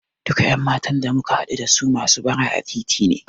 Duka ƴan matan da muka haɗu dasu masu bara a titi ne.